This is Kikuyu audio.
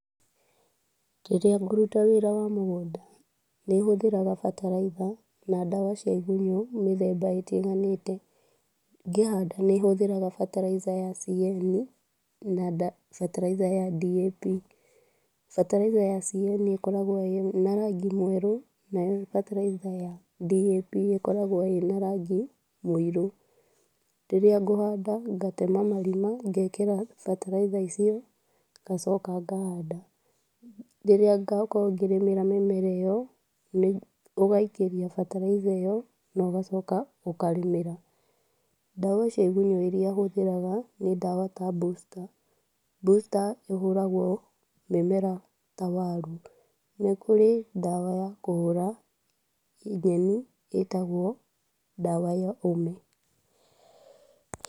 Rĩrĩa ngũruta wĩra wa mũgũnda, nĩ hũthagĩra bataraitha na ndawa cia igunyu mĩthemba itiganĩte, ngĩhanda nĩ hũthagĩra bataraitha ya CAN na barathaitha ya DAP, bataraitha ya CAN ĩkoragwo na rangi mweru, nayo bataraitha ya DAP ĩkoragwo ĩna rangi mũirũ, rĩrĩa ngũhanda ngatema marima, ngekĩra bataraitha icio, ngacoka ngahanda, rĩrĩa ngakorwo ngĩrĩmĩra mĩmera ĩyo, nĩ ũgaikĩria bataraitha ĩyo, na ũgacoka ũkarĩmĩra, ndawa cia igunyũ irĩa hũthagĩra nĩta ndawa ta booster, booster ĩhũragwo mĩmera ta waru, nĩkũrĩ ndawa ya kũhũra nyeni ĩtagwo ndawa ya ũme.